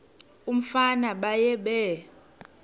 umfana baye bee